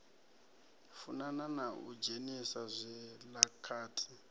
funana na u dzhenisa zwilakati